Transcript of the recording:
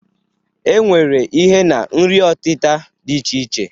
E nwere ihe na nri ọtịta dị iche iche.